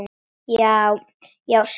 Já, já, segi ég.